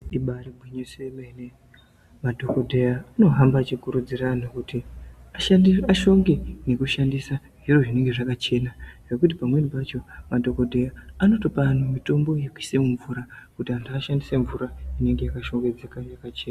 Ibairi ngwinyiso yemene madhokoteya ano hamba achi kurudzira vantu kuti ashandi ashonge neku shandise zviro zvinenge zvakachena nekuti pamweni pacho ma dhokodheya anotopa antu mitombo yekuisa mu mvura kuti antu ashandise mvura inenge yaka shongedzeka ne yakachena.